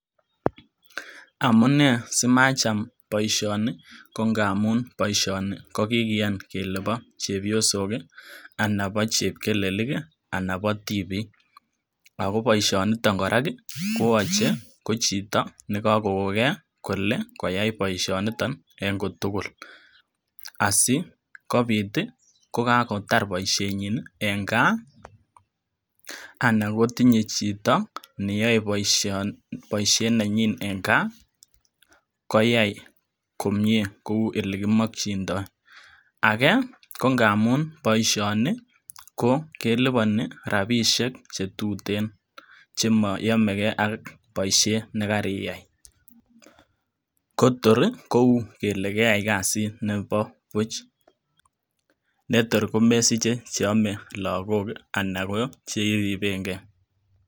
Amune simacham boishoni ko ngamun boishoni kokiyan kele bo chepyosok kii anan bo chepkelelik anan bo tibik, ako boishonito koraa koyoche ko chito nekokokon gee kole koyai boishoniton nii en kotukul asikobit tii kokakotar boishenyin nii en gaa anan kotinye chito neyoe boishet nenyin en gaa koyai komie kou ole kimokindo. Age ko ngamun boishoni ko keliponi rabishek chetuten chemoyome gee ak boishet nekariyai, ko tori kou kele keyai kasit nebo buch netor komesiche cheyome lokok kii anan ko cheiriben gee.